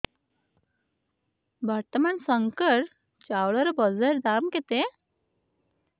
ବର୍ତ୍ତମାନ ଶଙ୍କର ଚାଉଳର ବଜାର ଦାମ୍ କେତେ